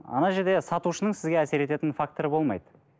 жерде сатушының сізге әсер ететін факторы болмайды